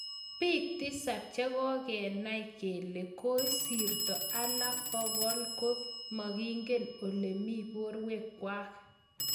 Biik tisap chekokenai kele koisirto alak pokol ko makingen olimii borkwek kwak.